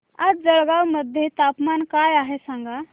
आज जळगाव मध्ये तापमान काय आहे सांगा